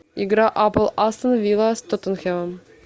игра апл астон вилла с тоттенхэмом